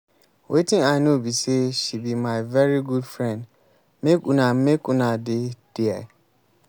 wetin i know be say she be my very good friend. make una make una dey there